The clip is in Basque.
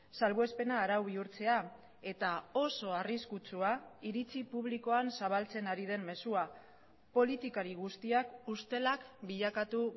salbuespena arau bihurtzea eta oso arriskutsua iritzi publikoan zabaltzen ari den mezua politikari guztiak ustelak bilakatu